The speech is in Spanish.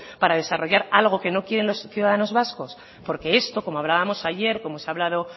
para desarrollar algo que no quieren los ciudadanos vascos porque esto como lo hablábamos ayer como se ha hablado